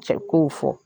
Cɛ kow fɔ